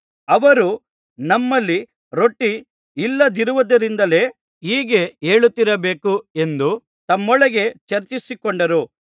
ಅವರು ನಮ್ಮಲ್ಲಿ ರೊಟ್ಟಿ ಇಲ್ಲದಿರುವುದರಿಂದಲೇ ಹೀಗೆ ಹೇಳುತ್ತಿರಬೇಕು ಎಂದು ತಮ್ಮೊಳಗೆ ಚರ್ಚಿಸಿಕೊಂಡರು